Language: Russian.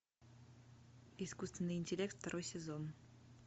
искусственный интеллект второй сезон